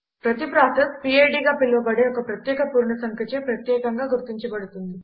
ప్రతి ప్రాసెస్ PIDగా పిలువబడే ఒక ప్రత్యేక పూర్ణసంఖ్యచే ప్రత్యేకంగా గుర్తించబడుతుంది